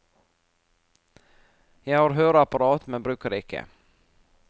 Jeg har høreapparat, men bruker det ikke.